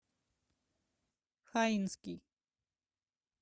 хаинский